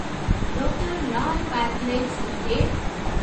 doctor Lal pathlabs limited